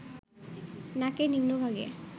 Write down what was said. নাকের নিম্নভাগে